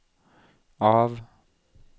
av